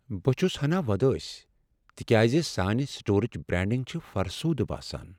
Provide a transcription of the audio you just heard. بہٕ چھُس ہنا وۄدٲسۍ تکیاز سانہِ سٹورٕچ برانڈنگ چھ فرسوٗدٕ باسان۔